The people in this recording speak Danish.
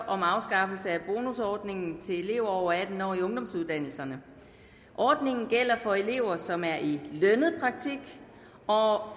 om afskaffelse af ordningen til elever over atten år i ungdomsuddannelserne ordningen gælder for elever som er i lønnet praktik og